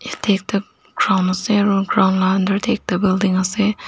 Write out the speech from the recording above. yete ekta ground ase aro ground laka under de ekta building ase.